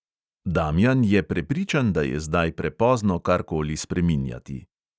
Damjan je prepričan, da je zdaj prepozno karkoli spreminjati.